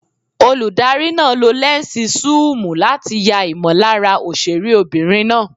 Olùdarí náà lo lẹ́ǹsì súùmù láti ya ìmọ̀lára òṣèré obìnrin náà.